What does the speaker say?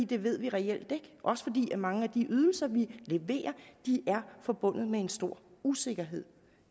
det ved vi reelt ikke også fordi mange af de ydelser vi leverer er forbundet med en stor usikkerhed